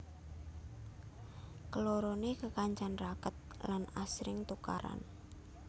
Kelorone kekancan raket lan asring tukaran